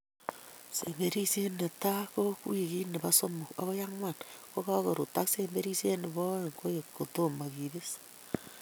Semberisiet netai ko wikit nebo somok agoi ang'wan kokakorut ak semberisiet nebo oeng koek kotomo kebis